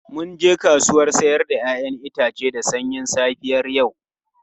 Mun je kasuwar 'ya'yan itace da sanyin safiyar yau.